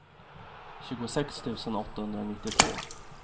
tjugosex tusen åttahundranittiotvå